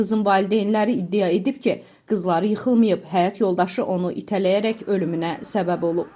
Qızın valideynləri iddia edib ki, qızları yıxılmayıb, həyat yoldaşı onu itələyərək ölümünə səbəb olub.